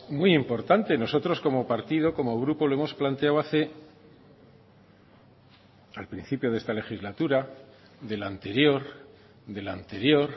muy importante nosotros como partido como grupo lo hemos planteado hace al principio de esta legislatura de la anterior de la anterior